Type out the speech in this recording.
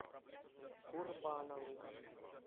курбанову